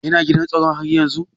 Yana gidan tsaro haryanzun?